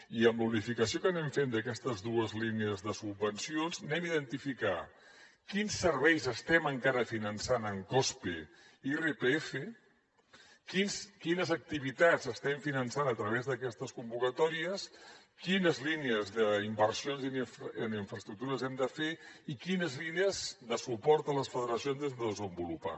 i amb la unificació que anem fent d’aquestes dues línies de subvencions identificarem quins serveis estem encara finançant amb cospe i irpf quines activitats estem finançant a través d’aquestes convocatòries quines línies d’inversions en infraestructures hem de fer i quines línies de suport a les federacions hem de desenvolupar